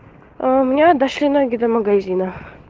у меня дошли ноги до магазина